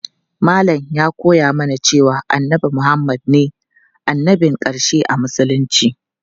Malam ya koya mana cewa annabi Muhammad ne annabin ƙarshe a musulunci.